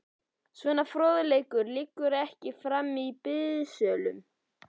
Svona fróðleikur liggur ekki frammi í biðsölum.